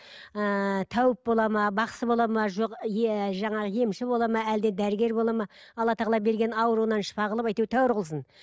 ыыы тәуіп бола ма бақсы болады ма жоқ еее жаңағы емші болады ма әлде дәрігер болады ма алла тағала берген ауруынан шағылып әйтеуір тәуір қылсын